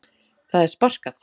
Það er sparkað.